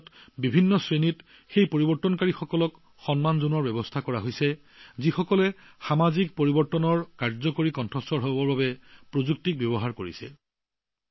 ইয়াৰ বহুতো ভিন্ন শ্ৰেণীক সামাজিক পৰিৱৰ্তনৰ বাবে প্ৰভাৱশালী কণ্ঠস্বৰ হবলৈ প্ৰযুক্তি ব্যৱহাৰ কৰা পৰিৱৰ্তনকাৰীসকলক সন্মান জনোৱাৰ বাবে প্ৰচেষ্টা হাতত লোৱা হৈছে